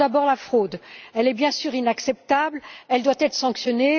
D'abord, la fraude, elle est bien sûr inacceptable, elle doit être sanctionnée.